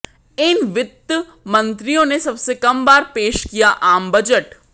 इन वित्त मंत्रियों ने सबसे कम बार पेश किया आम बजट